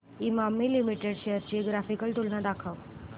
Emami limited shares ची graphical तुलना दाखव